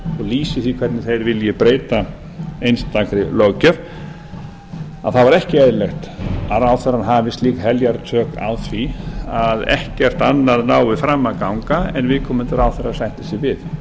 lýsi því hvernig þeir vilji breyta einstakri löggjöf þá er ekki eðlilegt að ráðherrann hafi slík heljartök á því að ekkert annað nái fram að ganga en viðkomandi ráðherra sættir sig við